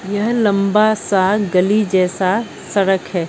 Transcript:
यह लंबा सा गली जैसा सड़क है।